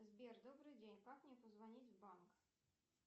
сбер добрый день как мне позвонить в банк